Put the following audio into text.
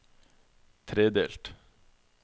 tredelt